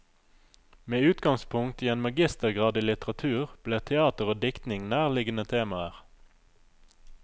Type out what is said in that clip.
Med utgangspunkt i en magistergrad i litteratur ble teater og diktning nærliggende temaer.